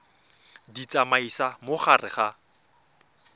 di tsamaisa mo gare ga